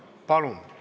Palun!